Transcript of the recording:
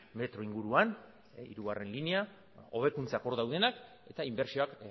metro inguruan hirugarrena linea hobekuntzak hor daudenak eta inbertsioak